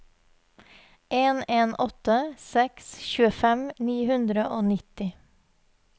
en en åtte seks tjuefem ni hundre og nitti